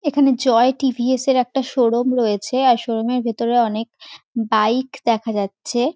এখানে জয় টি.ভি.এস -এর একটা শোরুম রয়েছে। আর শোরুম -এর ভেতরে অনেক বাইক দেখা যাচ্ছে।